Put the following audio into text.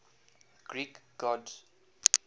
greek gods